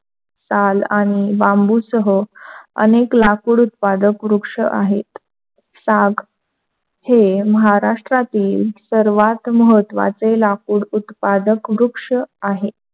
साग आणि बांबूसह अनेक लाकूड उत्पादक वृक्ष आहेत. साग हे महाराष्ट्रातील सर्वात महत्त्वाचे लाकूड उत्पादक वृक्ष आहे.